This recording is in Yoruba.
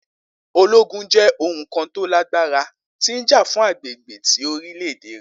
Ologun jẹ oun kan to lagbara ti ja fun agbegbe ti orilẹ-ede.